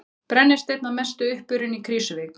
Brennisteinn að mestu uppurinn í Krýsuvík.